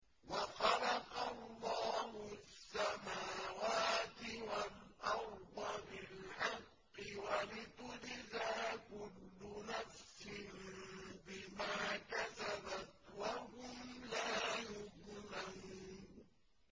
وَخَلَقَ اللَّهُ السَّمَاوَاتِ وَالْأَرْضَ بِالْحَقِّ وَلِتُجْزَىٰ كُلُّ نَفْسٍ بِمَا كَسَبَتْ وَهُمْ لَا يُظْلَمُونَ